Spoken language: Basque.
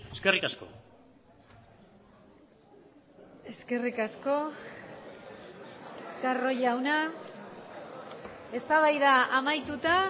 eskerrik asko eskerrik asko carro jauna eztabaida amaituta